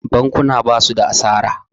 bakuna ba su da asara